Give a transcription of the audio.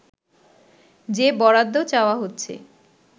যে বরাদ্দ চাওয়া হচ্ছে